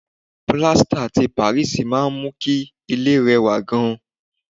Pilasita tí Paris máa ń mú kí ilẹ̀ rẹ wà gan